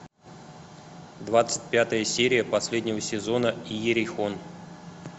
двадцать пятая серия последнего сезона иерихон